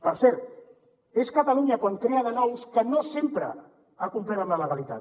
per cert és catalunya quan en crea de nous que no sempre ha complert amb la legalitat